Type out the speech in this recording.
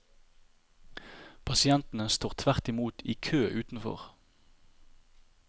Pasientene står tvert imot i kø utenfor.